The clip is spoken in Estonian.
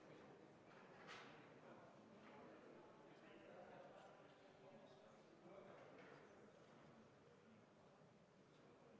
Lugupeetud kolleegid!